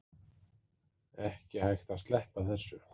Ekki hægt að sleppa þessu